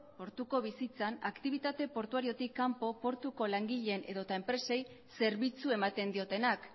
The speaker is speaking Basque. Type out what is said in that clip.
portuko bizitzan aktibitate portuariotik kanpo portuko langileen edota enpresei zerbitzu ematen diotenak